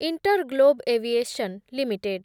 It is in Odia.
InterGlobe aviation limited